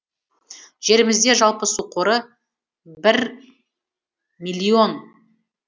жерімізде жалпы су қоры бір миллион